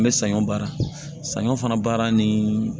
An bɛ saɲɔ baara saɲɔ fana baara ni